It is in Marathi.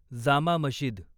जामा मशिद